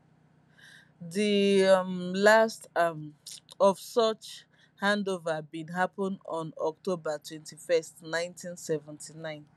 di um last um of such handover bin happen on october 21st 1979